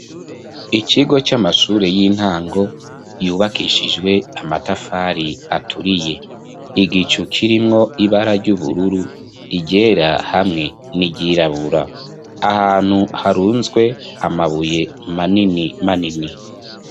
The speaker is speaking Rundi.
Ikigo c'amashure y'intango yubakishijwe amatafari aturiye igicu kirimwo ibara ry'ubururu igera hamwe ni iryirabura ahantu harunzwe amabuye manini ma nini.